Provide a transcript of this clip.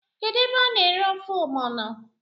Kedu ebe a na ere ofe ọgbọno?